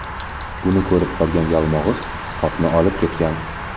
Buni ko‘rib qolgan Yalmog‘iz qopni olib ketgan.